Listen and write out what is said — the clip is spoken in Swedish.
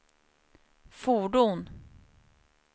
fordon